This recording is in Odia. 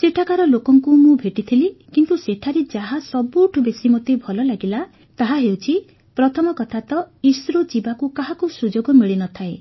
ସେଠାକାର ଲୋକଙ୍କୁ ମୁଁ ଭେଟିଥିଲି କିନ୍ତୁ ସେଠାରେ ଯାହା ସବୁଠୁ ବେଶି ମୋତେ ଭଲ ଲାଗିଲା ତାହାହେଉଛି ପ୍ରଥମ କଥା ତ ଇସ୍ରୋ ଯିବାକୁ କାହାକୁ ସୁଯୋଗ ମିଳିନଥାଏ